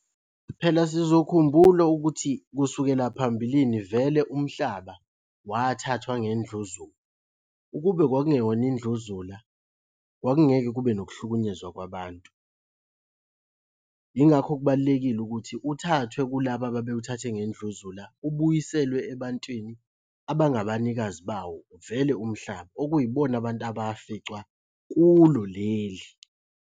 Phela sizokhumbula ukuthi kusukela phambilini vele umhlaba wathathwa ngendluzula, ukube kwakungeyona indluzula, kwakungeke kube nokuhlukunyezwa kwabantu. Yingakho kubalulekile ukuthi uthathwe kulaba ababewuthathe ngendluzula ubuyiselwe ebantwini abangabanikazi bawo vele umhlaba, okuyibona abantu abaficwa kulo leli.